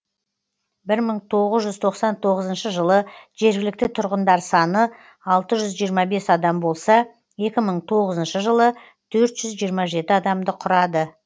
бір мың тоғыз жүз тоқсан тоғызыншы жылы жергілікті тұрғындар саны алты жүз жиырма бес адам болса екі мың тоғызыншы жылы төрт жүз жиырма жеті адамды құрады